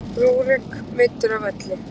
Rúrik meiddur af leikvelli